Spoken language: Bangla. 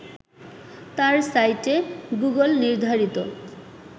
তার সাইটে গুগল নির্ধারিত